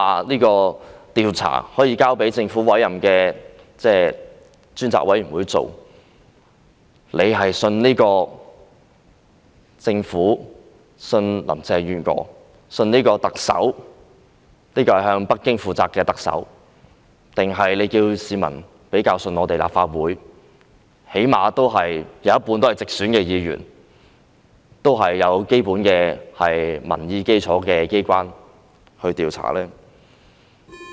你們說可以交給政府委任的獨立調查委員會調查，叫市民相信這個政府、相信林鄭月娥這位向北京負責的特首，還是市民較相信由立法會這最低限度有一半直選議員及有基本民意基礎的機關作出調查呢？